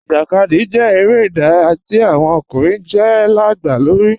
Ijákadì jẹ̀ èrè idàráyà tí awọn ọkùnrin jẹ́ gba lórí.